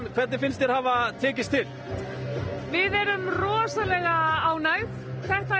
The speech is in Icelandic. hvernig finnst þér hafa tekist itl við erum rosalega ánægð þetta er